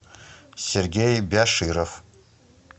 сергей бяширов